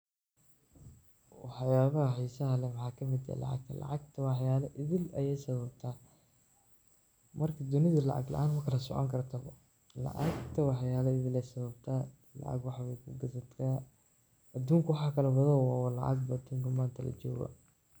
Waxyalaha xeesaha leeh maxawaye lacag , lacagta waxaya etheel Aya sababtaa marka dunitha lacga laan magala soconi kartoo lacagta waxayala etheel Aya sababtaa lacaga waxa gathataa aduunka waxkalawathoo wa lacag manta la jokoh.